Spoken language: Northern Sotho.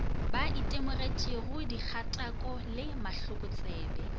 ba itemogetšego dikgatako le mahlokotsebe